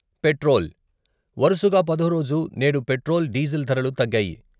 Petrol, వరుసగా పదో రోజు నేడు పెట్రోల్, డీజిల్ ధరలు తగ్గాయి.